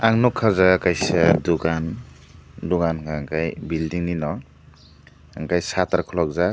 ang nugkha aw jaaga kaisa dukan dugan unka ke building ni noh enke matter khuluk jak.